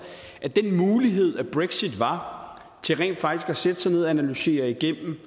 at den mulighed brexit var til rent faktisk at sætte sig ned og analysere igennem